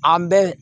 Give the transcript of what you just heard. An bɛ